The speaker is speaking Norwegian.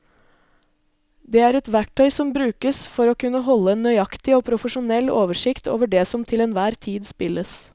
Det er et verktøy som brukes for å kunne holde en nøyaktig og profesjonell oversikt over det som til enhver tid spilles.